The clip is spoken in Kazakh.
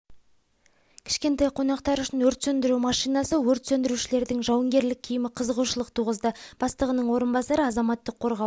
кішкентай қонақтар үшін өрт сөндіру машинасы өрт сөндірушілердің жауынгерлік киімі қызығушылық туғызды бастығының орынбасары азаматтық қорғау